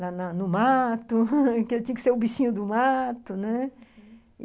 lá na no o mato, que ele tinha que ser o bichinho do mato, né? uhum.